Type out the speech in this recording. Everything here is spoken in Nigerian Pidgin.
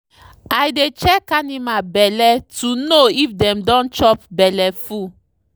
i dey check animal belle to know if dem don chop belleful.